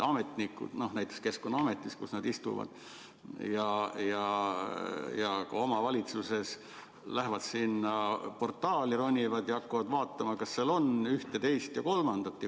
Ametnikud näiteks Keskkonnaametis, kus nad istuvad, ja ka omavalitsuses lähevad sinna portaali, ronivad sinna, ja hakkavad vaatama, kas seal on ühte, teist või kolmandat.